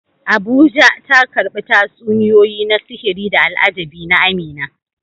Abuja, ta karbi tatsuniyoyi na sihiri da al'ajabi na Amina.